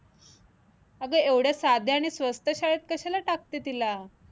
अगं एवढ्या साध्या आणि स्वस्त शाळेत कशाला टाकते तिला?